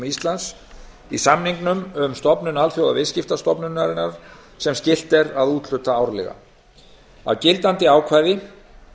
íslands í samningnum um stofnun alþjóðaviðskiptastofnunarinnar sem skylt er að úthluta árlega af gildandi ákvæði